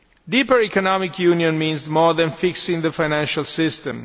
Deeper economic union means more than fixing the financial system.